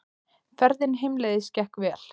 Ferðin heimleiðis gekk vel.